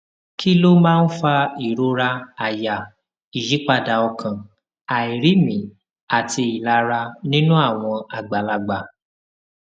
kí ló máa ń fa ìrora àyà ìyípadà ọkàn àìrími àti ìlara nínú àwọn àgbàlagbà